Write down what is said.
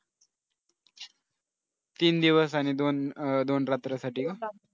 तीन दिवस आणि दोन अह दोन रात्रीसाठी का?